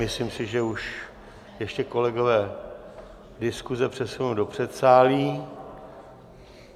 Myslím si, že už... ještě kolegové diskuze přesunou do předsálí.